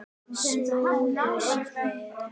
Snúðu við.